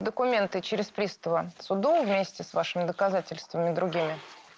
документы через пристава суду вместе с вашими доказательствами другими